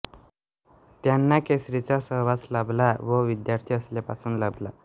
त्यानां केसरी चा सहवास लाभला व वीध्यार्थी असल्या पासुण लाभला